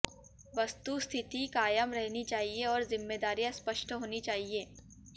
वस्तुस्थिति कायम रहनी चाहिए और जिम्मेदारियां स्पष्ट होनी चाहिए